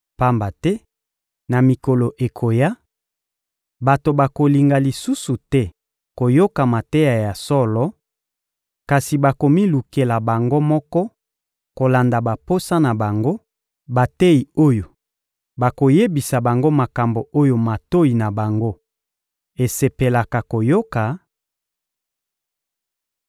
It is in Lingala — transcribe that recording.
Pamba te na mikolo ekoya, bato bakolinga lisusu te koyoka mateya ya solo, kasi bakomilukela bango moko, kolanda baposa na bango, bateyi oyo bakoyebisa bango makambo oyo matoyi na bango esepelaka koyoka;